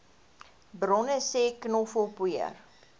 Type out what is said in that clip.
bronne sê knoffelpoeier